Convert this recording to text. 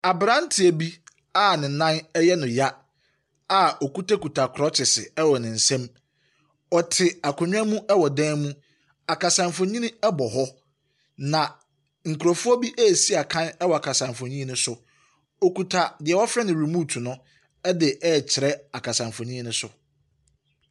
Abranteɛ bi a ne nan yɛ no ya a okutakuta krɔkyese wɔ ne nsam. Ɔte akonnwa mu wɔ dan mu. Akasa mfonyini bɔ hɔ. Na nkrɔfoɔ bi resi akan wɔ akasa mfonyini so. Okuta deɛ wɔfrɛ no remote no de rekyerɛ akasamfonyini no so.